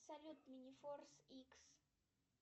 салют минифорс икс